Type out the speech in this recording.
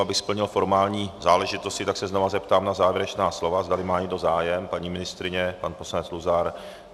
Abych splnil formální záležitosti, tak se znovu zeptám na závěrečná slova, zdali má někdo zájem - paní ministryně, pan poslanec Luzar?